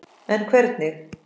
En hvernig?